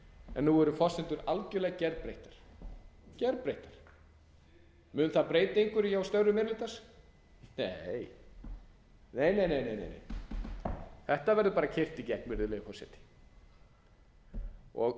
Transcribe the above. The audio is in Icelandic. en nú eru forsendur algerlega gerbreyttar mun það breyta einhverju hjá störfum meiri hlutans nei nei nei þetta verður keyrt í gegn virðulegi forseti og